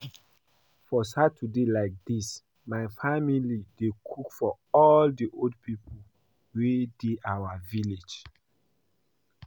For Saturdays like dis my family dey cook for all the old people wey dey our village